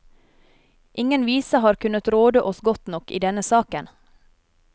Ingen vise har kunnet råde oss godt nok i denne saken.